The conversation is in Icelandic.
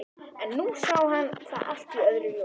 En nú sá hann það allt í öðru ljósi.